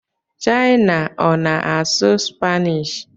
China ọ na-asụ Spanish?